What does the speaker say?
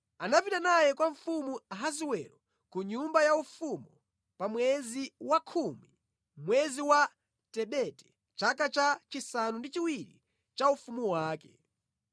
Anapita naye kwa mfumu Ahasiwero ku nyumba ya ufumu pa mwezi wa khumi, mwezi wa Tebete, chaka cha chisanu ndi chiwiri cha ufumu wake.